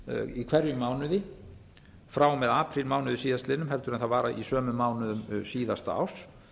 í hverjum mánuði frá og með aprílmánuði síðastliðnum en það var í sömu mánuðum síðasta árs